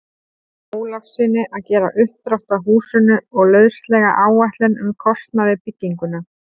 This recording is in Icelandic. Ólafssyni að gera uppdrátt að húsinu og lauslega áætlun um kostnað við bygginguna.